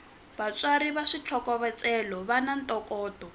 vatsari va switlhokovetselo vana ntokoto